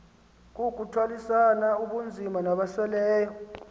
kukuthwalisana ubunzima nabasweleyo